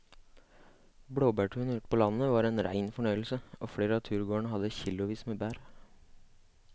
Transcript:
Blåbærturen ute på landet var en rein fornøyelse og flere av turgåerene hadde kilosvis med bær.